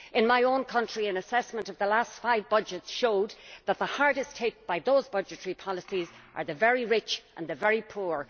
In my own country an assessment of the last five budgets showed that the hardest hit by those budgetary policies are the very rich and the very poor.